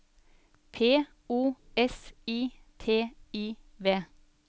P O S I T I V